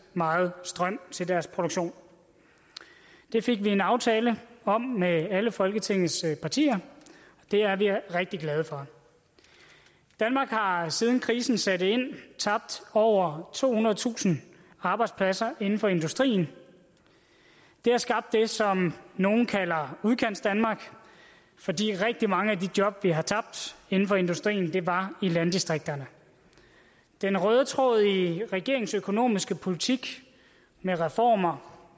meget strøm til deres produktion det fik vi en aftale om med alle folketingets partier og det er vi rigtig glade for danmark har siden krisen satte ind tabt over tohundredetusind arbejdspladser inden for industrien det har skabt det som nogle kalder udkantsdanmark fordi rigtig mange af de job vi har tabt inden for industrien var i landdistrikterne den røde tråd i regeringens økonomiske politik med reformer og